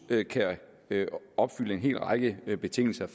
kan opfylde en hel række betingelser